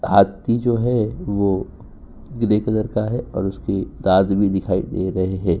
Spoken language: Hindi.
हाथी जो हैं वो ग्रे कलर का हैं और उसकी दात भी दिखाई दे रहे है।